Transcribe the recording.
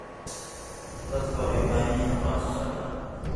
Dadku waxay u baahan yihiin aqoonsi socdaal.